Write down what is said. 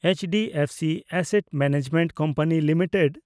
HDFC asset management company limited